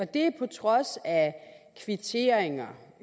det på trods af at der er kvitteringer